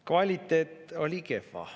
Kvaliteet oli kehva.